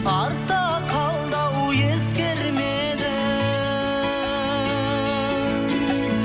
артта қалды ау ескермедің